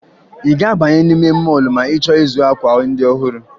Ị ga-abanye n'ime mọọlụ ma ị chọọ ịzụ akwa ndị ọhụrụ